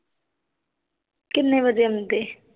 ਕਿੰਨੇ ਵਜੇ ਆਉਂਦੇ?